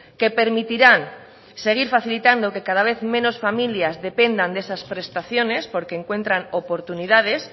que permitirán seguir facilitando que cada vez menos familias dependan de esas prestaciones porque encuentran oportunidades